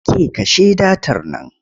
Ke kashe datar nan!